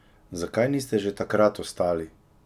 Zakaj niste že takrat ostali?